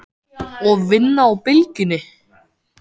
Og vinna á Bylgjunni?